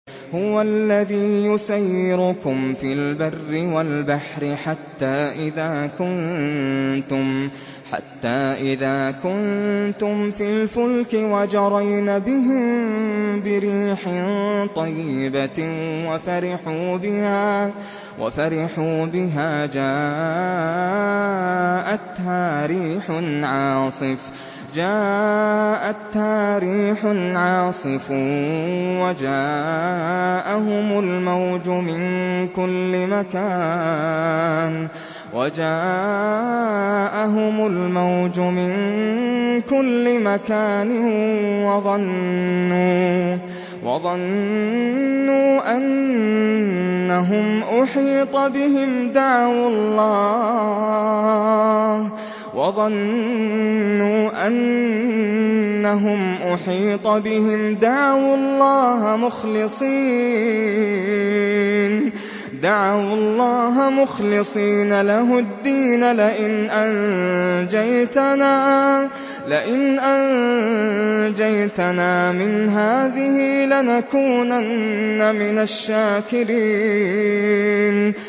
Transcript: هُوَ الَّذِي يُسَيِّرُكُمْ فِي الْبَرِّ وَالْبَحْرِ ۖ حَتَّىٰ إِذَا كُنتُمْ فِي الْفُلْكِ وَجَرَيْنَ بِهِم بِرِيحٍ طَيِّبَةٍ وَفَرِحُوا بِهَا جَاءَتْهَا رِيحٌ عَاصِفٌ وَجَاءَهُمُ الْمَوْجُ مِن كُلِّ مَكَانٍ وَظَنُّوا أَنَّهُمْ أُحِيطَ بِهِمْ ۙ دَعَوُا اللَّهَ مُخْلِصِينَ لَهُ الدِّينَ لَئِنْ أَنجَيْتَنَا مِنْ هَٰذِهِ لَنَكُونَنَّ مِنَ الشَّاكِرِينَ